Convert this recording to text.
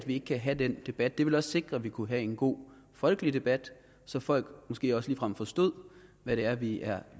ikke kan have den debat det ville sikre at vi kunne have en god folkelig debat så folk måske også ligefrem forstod hvad det er vi er